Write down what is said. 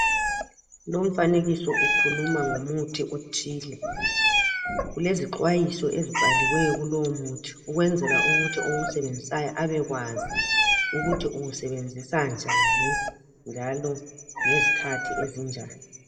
Lumfanekiso ukhuluma ngomuthi othile. Kulezixwayiso ezibhaliweyo kulowo muthi ukwenzela ukuthi owusebenzisayo abe kwazi ukuthi uwusebenzisa njani, njalo ngezikhathi ezinjani.